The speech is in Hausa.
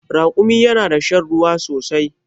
Rakumi yana da shan ruwa sosai